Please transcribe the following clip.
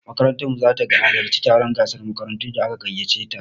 Makarantar mu zata halarci taron gasan makarantun da aka gaiyace ta